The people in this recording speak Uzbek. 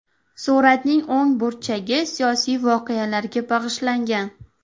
Suratning o‘ng burchagi siyosiy voqealarga bag‘ishlangan.